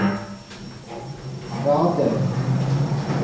Radøy